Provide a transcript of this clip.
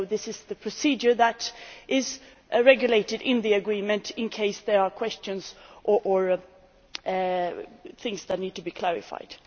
As you know, this is the procedure that is regulated in the agreement in case there are questions or things that need to be clarified.